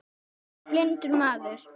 Hann var blindur maður.